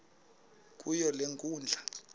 kuyo le nkundla